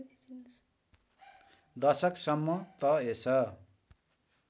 दशक सम्म त यस